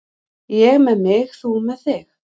Ég með mig, þú með þig.